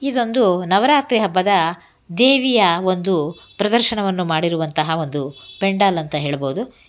ಇದೊಂದು ನವರಾತ್ರಿ ಹಬ್ಬದ ದೇವಿಯ ಒಂದು ಪ್ರದರ್ಶನವನ್ನು ಮಾಡಿರುವಂತಹ ಒಂದು ಪೆಂಡಾಲ್ ಅಂತ ಹೇಳಬಹುದು.